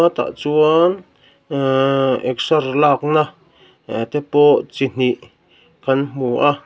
hetah chuan aaaehh exer lakna aeeh te pawh chi hnih kan hmu a.